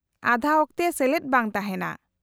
-ᱟᱫᱷᱟ ᱚᱠᱛᱮ ᱥᱮᱞᱮᱫ ᱵᱟᱝ ᱛᱟᱦᱮᱱᱟ ᱾